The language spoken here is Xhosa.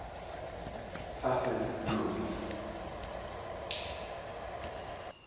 saseloli